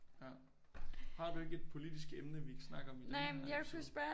Ja. Har du ikke et politisk emne vi kan snakke om i den her episode?